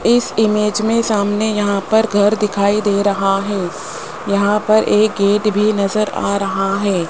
इस इमेज में सामने यहां पर घर दिखाई दे रहा है यहां पर एक गेट भी नजर आ रहा है।